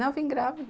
Não, eu vim grávida.